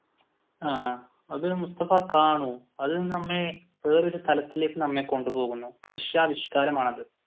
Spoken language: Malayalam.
ആഹ് അത് മുസ്‌തഫ കാണു അത് നമ്മെ വേറെ ഒരു തലത്തിലേക്ക് നമ്മെ കൊണ്ടുപോകുന്നു ദൃശ്യാവിഷ്കാരമാണത്